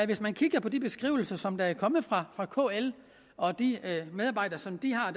hvis man kigger på de beskrivelser som der er kommet fra kl og de medarbejdere som de har